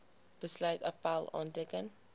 besluit appèl aanteken